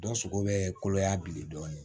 Dɔ sogo bɛ koloya bilen dɔɔnin